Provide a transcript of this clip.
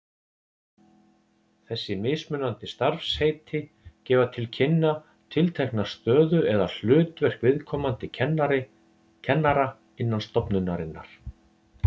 Þessi mismunandi starfsheiti gefa til kynna tiltekna stöðu eða hlutverk viðkomandi kennara innan stofnunarinnar.